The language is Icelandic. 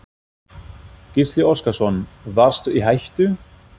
Gísli Óskarsson: Varstu í hættu?